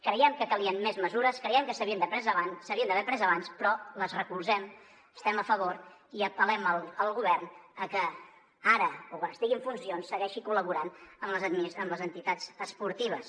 creiem que calien més mesures creiem que s’havien d’haver pres abans però les recolzem hi estem a favor i apel·lem al govern perquè ara o quan estigui en funcions segueixi col·laborant amb les entitats esportives